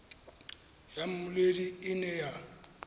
ya mmoledi e ne ya